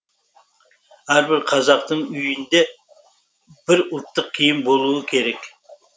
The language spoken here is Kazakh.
әрбір қазақтың үйінде бір ұлттық киім болуы керек